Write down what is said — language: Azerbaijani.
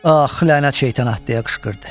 Ax lənət şeytana, deyə qışqırdı.